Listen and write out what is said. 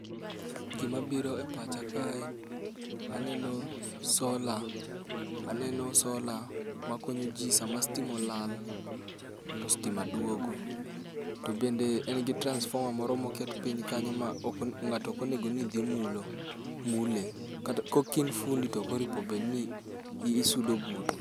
Gima biro e pacha ake aneno sola, aneno sola makonyo jii sama stima olal to sitima duogo .To bende en gi transformer moro moket piny kanyo ma ok ng'ato ok onego ni dhi mulo mule, kata kokin fundi tokoripo bedni isudo bute.